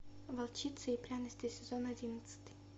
волчица и пряности сезон одиннадцатый